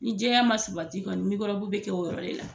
Ni jɛya ma sabati kɔni bɛ kɛ o yɔrɔ de la.